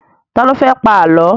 Ta ló fẹ́ pa Àlọ́?